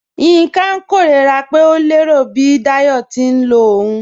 Yinka n kẹrora pe o lẹro bi Dáyọ̀ ti n lọ ọ̀un.